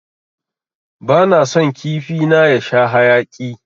Bana son kifi na ya sha haƴaki.